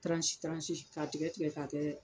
ka tigɛ tigɛ ka kɛ